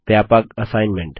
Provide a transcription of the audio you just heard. व्यापक असाइनमेंट